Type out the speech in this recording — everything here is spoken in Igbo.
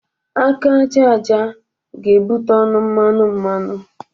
Aka aja aja ga-ebụte ọnụ mmanụ mmanụ.